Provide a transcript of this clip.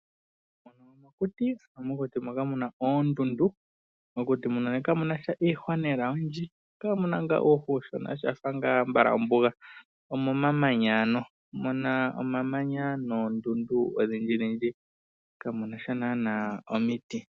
Mokuti omuna oondundu, kamuna lela iihwa oyindji, omuna nga uuhwa uushona shafa nga ambala oombuga, omuna omamanya noondundu odhindji dhiji, kamunasha nana omiti.